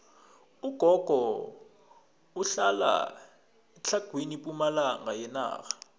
ugogo uhlala etlhagwini pumalanga yenarha